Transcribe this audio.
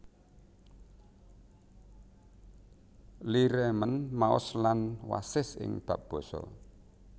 Lee remén maos lan wasis ing bab basa